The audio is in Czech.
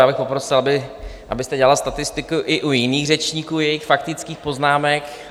Já bych poprosil, abyste dělal statistiku i u jiných řečníků, jejich faktických poznámek.